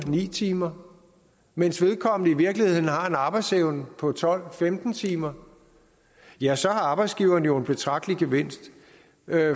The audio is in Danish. ni timer mens vedkommende i virkeligheden har en arbejdsevne på tolv femten timer ja så har arbejdsgiveren jo en betragtelig gevinst